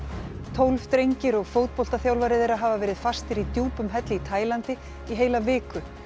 tólf drengir og fótboltaþjálfari þeirra hafa verið fastir í djúpum helli í Taílandi í heila viku